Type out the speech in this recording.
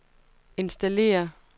installere